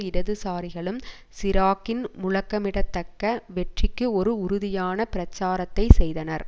இடதுசாரிகளும் சிராக்கின் முழக்கமிடத்தக்க வெற்றிக்கு ஒரு உறுதியான பிரச்சாரத்தை செய்தனர்